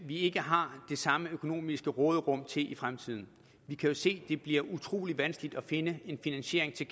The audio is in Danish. vi ikke har det samme økonomiske råderum i fremtiden vi kan jo se det bliver utrolig vanskeligt at finde en finansiering til